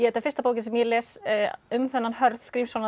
er fyrsta bókin sem ég les um þennan Hörð Grímsson